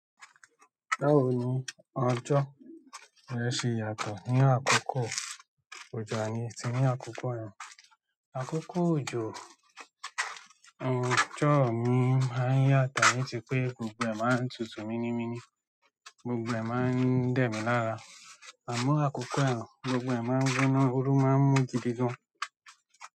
Báwo ni ọjọ́ rẹ ṣe yàtọ̀ ní àkókò òjò àní tí ní àkókò ẹ̀rùn? Àkókò òjò, ọjọ́ mi máa ń yàtọ̀ ní ti pé gbogbo ẹ̀ máa ń tutù mini mini, gbogbo ẹ̀ máa ń dẹ̀mí lára. Àmọ́ àkókò ẹ̀rùn, gbogbo ẹ̀ máa ń rúnú, ooru máa ń mú gidi gan.